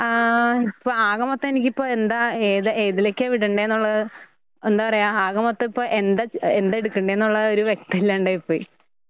ആഹ് ഇപ്പആകമൊത്ത എനിക്കിപ്പഎന്താ ഏത് ഏതിലൊക്കെയാ വിടേണ്ടെന്നൊള്ളത് എന്താപറയ ആകമൊത്ത ഇപ്പ എന്ത എന്താഎടുക്കണ്ടെന്നുള്ള ഒരു വ്യക്തമില്ലാണ്ടായിപോയി.